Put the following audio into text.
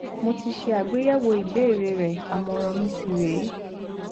mo ti ṣe àgbéyẹwò ìbéèrè rẹ àmọràn mi sì rè é